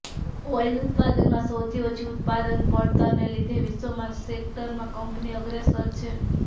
oil ઉત્પાદનમાં સૌથી ઓછી ઉત્પાદન પડતરને લીધે વિશ્વમાં આ સેક્ટરમાં કંપની અગ્રેસર છે